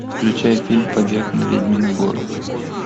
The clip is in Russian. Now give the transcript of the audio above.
включай фильм побег на ведьмину гору